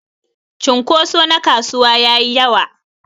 cunkuso na kasuwa yayi yawa.